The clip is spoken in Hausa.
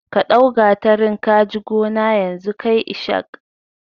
Ka ɗau gatarin kaji gona yanzu kai ishak